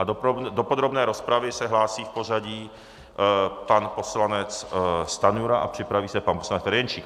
A do podrobné rozpravy se hlásí v pořadí pan poslanec Stanjura a připraví se pan poslanec Ferjenčík.